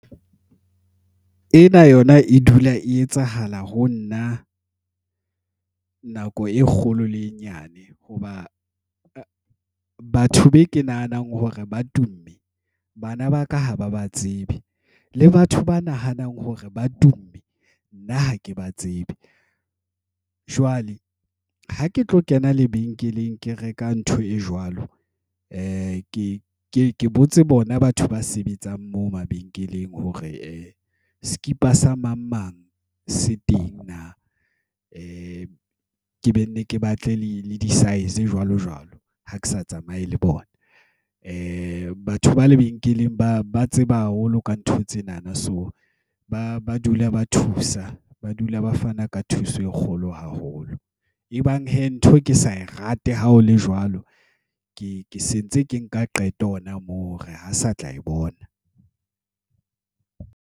Ena yona e dula e etsahala ho nna, nako e kgolo le e nyane. Hoba batho be ke nahanang hore ba tumme. Bana ba ka ho ba ba tsebe. Le batho ba nahanang hore ba tumme, nna ha ke ba tsebe. Jwale ha ke tlo kena lebenkeleng ke reka ntho e jwalo. Ke ke botse bona batho ba sebetsang moo mabenkeleng, hore sekipa sa mang mang seteng na. Ke be nne ke batle le le di-size jwalo jwalo ha ke sa tsamaye le bona. Batho ba lebenkeleng ba ba tseba haholo ka ntho tsenana. So ba ba dula ba thusa, ba dula ba fana ka thuso e kgolo haholo. Ebang he ntho ke sa e rate ha ho le jwalo, ke ke sentse ke nka qeto hona moo hore ha sa tla e bona.